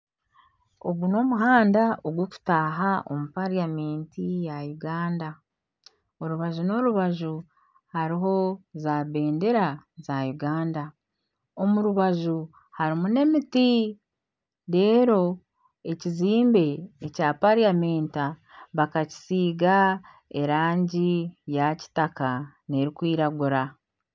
Ogu ni omuhanda oguri kutaaha omu pariyamenti ya Uganda. Orubaju n'orubaju hariho za bendera za Uganda . Omu rubaju harimu na emiti , ekizimbe ekya pariyamenti bakakisiiga erangi ya kitaka na erikwiragura.